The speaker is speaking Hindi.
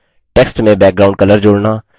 text में background color जोड़ना